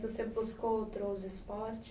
Você buscou outros esporte